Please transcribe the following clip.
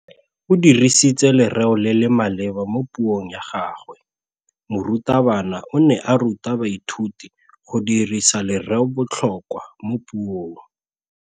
O dirisitse lerêo le le maleba mo puông ya gagwe. Morutabana o ne a ruta baithuti go dirisa lêrêôbotlhôkwa mo puong.